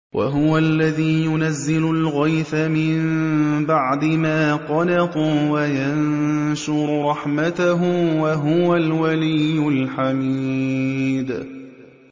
وَهُوَ الَّذِي يُنَزِّلُ الْغَيْثَ مِن بَعْدِ مَا قَنَطُوا وَيَنشُرُ رَحْمَتَهُ ۚ وَهُوَ الْوَلِيُّ الْحَمِيدُ